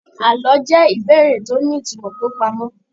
Àlọ́ jẹ́ ìbéèrè tó ní ìtumọ̀ tó pamọ́.